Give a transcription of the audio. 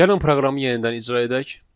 Gəlin proqramı yenidən icra edək.